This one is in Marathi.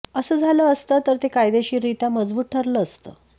असं झालं असतं तर ते कायदेशीररीत्या मजबूत ठऱलं असतं